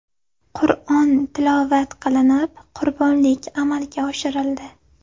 Qur’on tilovat qilinib, qurbonlik amalga oshirildi.